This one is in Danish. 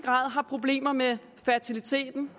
har problemer med fertiliteten